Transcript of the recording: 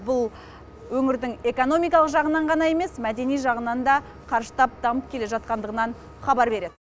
бұл өңірдің экономикалық жағынан ғана емес мәдени жағынан да қарыштап дамып келе жатқандығынан хабар береді